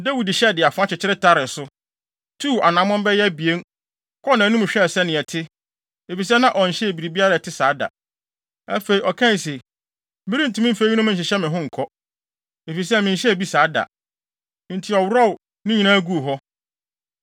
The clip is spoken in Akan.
Dawid hyɛe, de afoa kyekyere taree so, tuu anammɔn bɛyɛ abien, kɔɔ nʼanim hwɛɛ sɛnea ɛte, efisɛ na ɔnhyɛɛ biribi a ɛte saa da. Afei, ɔkae se, “Merentumi mfa eyinom nhyehyɛ me ho nkɔ, efisɛ menhyɛɛ bi saa da.” Enti ɔworɔw ne nyinaa guu hɔ.